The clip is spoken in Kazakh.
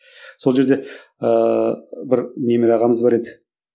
сол жерде ыыы бір немере ағамыз бар еді